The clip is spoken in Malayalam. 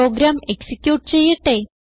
പ്രോഗ്രാം എക്സിക്യൂട്ട് ചെയ്യട്ടെ